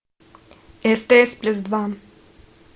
стс плюс два